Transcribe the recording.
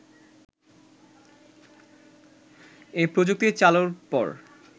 এ প্রযুক্তি চালুর পর